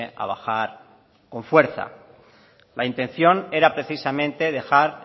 a bajar con fuerza la intención era precisamente dejar